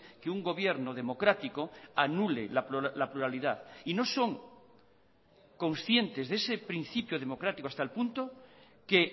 que un gobierno democrático anule la pluralidad y no son conscientes de ese principio democrático hasta el punto que